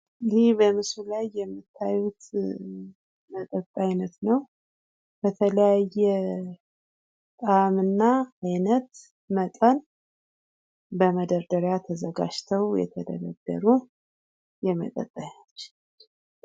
ይህ በምስሉ ላይ የምታዩት የመጠጥ አይነት ነዉ። በተለያየ ጣዕም እና አይነት መጠን በመደርደሪያ ተዘጋጅተዉ የተደረደሩ የመጠጥ አይነት ነዉ።